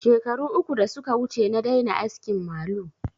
Shekaru uku da suka wuce na daina askin malu